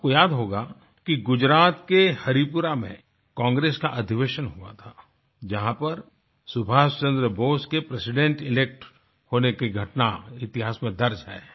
आपको याद होगा कि गुजरात के हरीपुरा में कांग्रेस का अधिवेशन हुआ था जहाँ पर सुभाष चन्द्र बोस के प्रेसिडेंट इलेक्ट होने की घटना इतिहास में दर्ज है